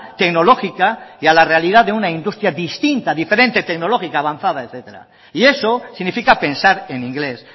tecnológica y a la realidad de una industria distinta diferente tecnológica avanzada etcétera y eso significa pensar en inglés